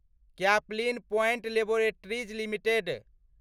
Caplin Point Laboratories limited